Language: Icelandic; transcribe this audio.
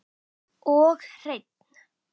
Og hreinn!